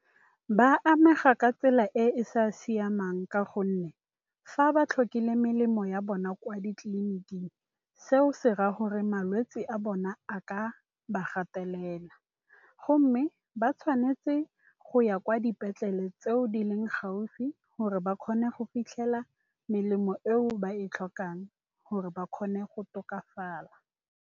Ba amega ka tsela e e sa siamang, ka gonne fa ba tlhokile melemo ya bona kwa ditleliniking, seo se raya gore malwetse a bona a ka ba gatelela. Go mme ba tshwanetse go ya kwa dipetlele, tseo di leng gaufi, gore ba kgone go fitlhela melemo eo ba e tlhokang, gore ba kgone go tokafala.